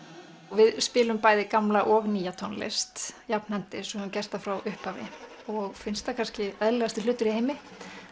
við spilum bæði gamla og nýja tónlist jafnhendis eins og við höfum gert frá upphafi og finnst það kannski eðlilegasti hlutur í heimi